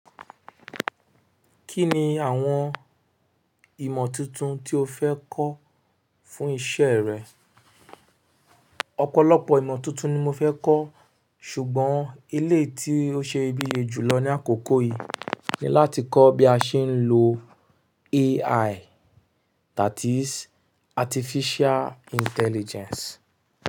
Kí ni àwọn ìmọ̀ tuntun tí o fẹ́ kọ́ fún iṣẹ́ rẹ? Ọ̀pọ̀lọpọ̀ ìmọ̀ tuntun ni mo fẹ́ kọ́ ṣùgbọ́n eléyi tí ó ṣe ibiye jùlọ ní àkókò yìí ni láti kọ́ bí a ṣe ń lo AI that is Artificial Intelligence.